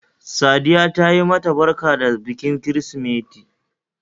Saddiya tayi ma ta barka da bikin kirsimeti